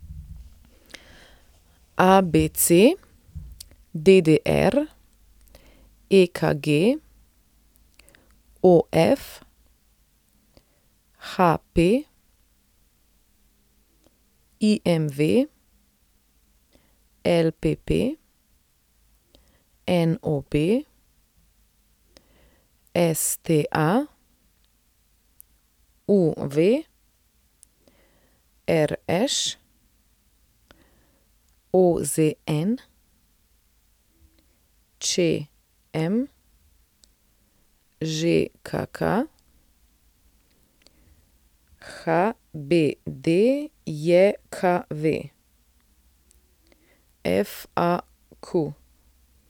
ABC, DDR, EKG, OF, HP, IMV, LPP, NOB, STA, UV, RŠ, OZN, ČM, ŽKK, HBDJKV, FAQ.